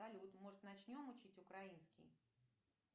салют может начнем учить украинский